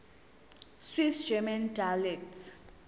swiss german dialects